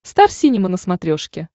стар синема на смотрешке